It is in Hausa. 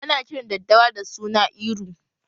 Ana kiran daddawa da suna Iru